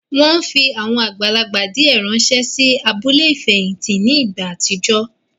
Wọ́n fi àwọn àgbàlagbà díẹ̀ ránsẹ́ sí abúlé ìfẹ̀hìntì ní ìgbà àtijọ́